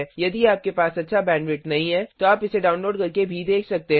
यदि आपके पास अच्छा बैंडविड्थ नहीं है तो आप इसे डाउनलोड करके देख सकते हैं